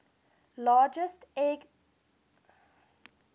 largest ethnic groups